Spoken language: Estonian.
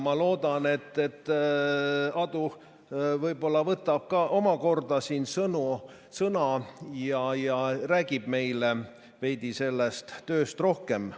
Ma loodan, et Aadu võtab ka omakorda siin sõna ja räägib meile sellest tööst veidi rohkem.